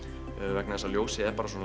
vegna þess að ljósið er bara svona